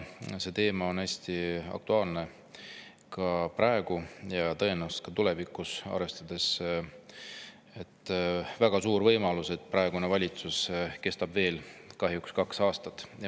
See teema on hästi aktuaalne ka praegu ja tõenäoliselt tulevikuski, arvestades väga suurt võimalust, et praegune valitsus kestab veel kahjuks kaks aastat.